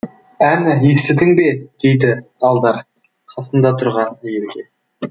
әні естідің бе дейді алдар қасында тұрған әйелге